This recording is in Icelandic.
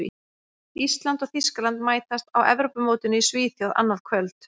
Ísland og Þýskaland mætast á Evrópumótinu í Svíþjóð annað kvöld.